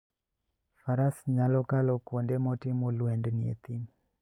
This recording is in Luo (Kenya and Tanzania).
Faras nyalo kalo kuonde motimo lwendni e thim.